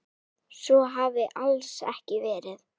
Svo hafi alls ekki verið.